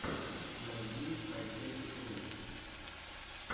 найди хайперикс ру